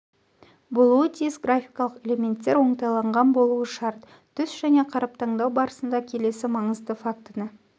болуы тиіс графикалық элементтер оңтайланған болуы шарт түс және қаріп таңдау барысында келесі маңызды фактіні